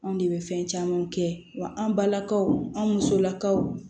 Anw de bɛ fɛn camanw kɛ wa an balakaw an musowlakaw